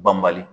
Banbali